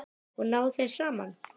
Og ná þeir saman?